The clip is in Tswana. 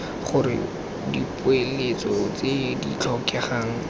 gore dipoeletso tse di tlhokegang